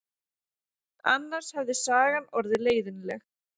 Annars hefði sagan orðið leiðinleg.